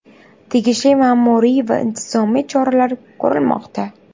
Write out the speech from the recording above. Tegishli ma’muriy va intizomiy choralar ko‘rilmoqda.